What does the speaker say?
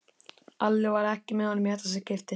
Alli var ekki með honum í þetta skipti.